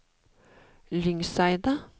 Lyngseidet